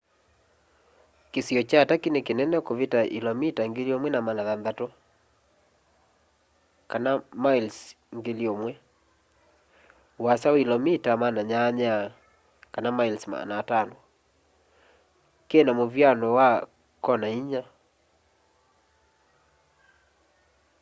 kĩsio kya turkey nĩ kĩnene kũvita ilomita 1,600 1,000 mi ũasa na ilomita 800 500 mi kĩna mũvyanũ wa kona ĩnya